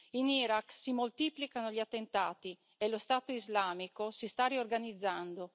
In Iraq si moltiplicano gli attentati e lo Stato islamico si sta riorganizzando.